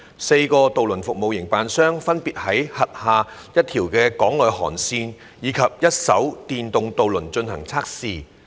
四個渡輪服務營辦商分別會在其轄下一條港內航線以一艘電動渡輪進行測試。